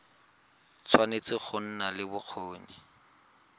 tshwanetse go nna le bokgoni